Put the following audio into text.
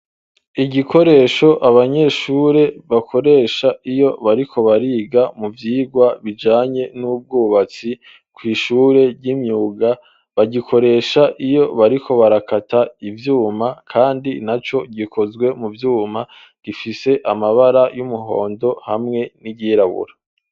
Igikoresho abanyeshure bakoresha iyo bariko bariga mu vyirwa bijanye n'ubwubatsi kw'ishure ry'imyuga bagikoresha iyo bariko barakata ivyuma, kandi na co gikozwe mu vyuma gifise amabara y'umuhondo hamwe n'igerawo ora.